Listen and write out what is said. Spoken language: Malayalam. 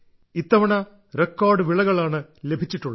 ഇത്തവണ റെക്കോർഡ് വിളകളാണ് ലഭിച്ചിട്ടുള്ളത്